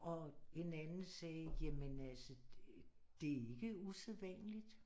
Og en anden sagde jamen altså det er ikke usædvandligt